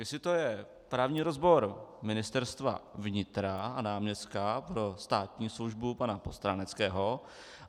Jestli je to právní rozbor Ministerstva vnitra a náměstka pro státní službu pana Postráneckého?